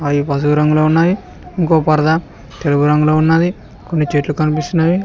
అవి పసుపు రంగులో ఉన్నాయి ఇంకో పర్దా తెలుపు రంగులో ఉన్నది కొన్ని చెట్లు కనిపిస్తున్నాయి.